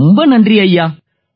ரொம்ப நன்றி ஐயா